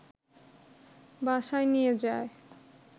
বাসায় নিয়ে যায়